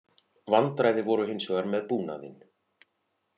Vandræði voru hins vegar með búnaðinn